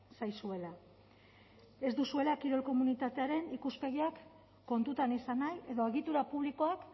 zaizuela ez duzuela kirol komunitatearen ikuspegiak kontutan izan nahi edo egitura publikoak